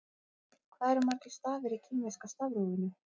Hvað eru margir stafir í kínverska stafrófinu?